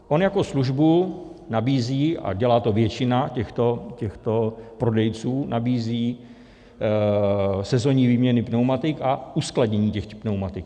On jako službu nabízí, a dělá to většina těchto prodejců, nabízí sezonní výměny pneumatik a uskladnění těchto pneumatik.